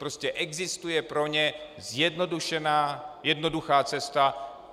Prostě existuje pro ně zjednodušená, jednoduchá cesta.